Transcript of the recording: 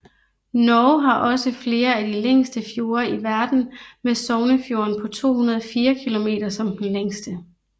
Norge har også flere af de længste fjorde i verden med Sognefjorden på 204 km som den længste